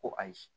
Ko ayi